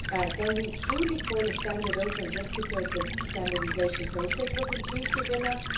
Can we truly call a standard open just because the standardisation process was inclusive enough?